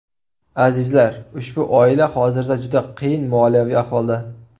Azizlar, ushbu oila hozirda juda qiyin moliyaviy ahvolda.